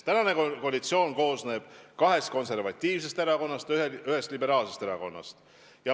Tänane koalitsioon koosneb kahest konservatiivsest erakonnast ja ühest liberaalsest erakonnast.